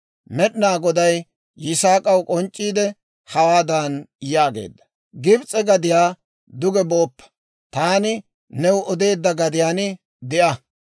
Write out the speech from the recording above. Med'ina Goday Yisaak'aw k'onc'c'iide hawaadan yaageedda; «Gibis'e gadiyaa duge booppa; taani new odeedda gadiyaan de'a.